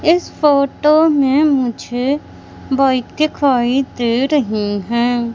इस फोटो में मुझे बाइक दिखाई दे रही है।